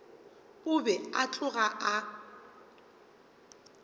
o be a tloga a